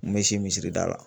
N me si misiri da la